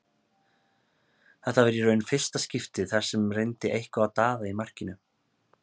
Þetta var í raun fyrsta skiptið þar sem reyndi eitthvað á Daða í markinu.